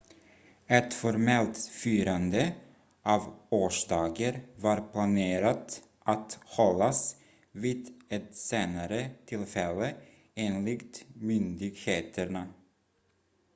ett formellt firande av årsdagen var planerat att hållas vid ett senare tillfälle enligt myndigheterna